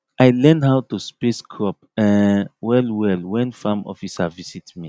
i learn how to space crop um well well when farm officer visit me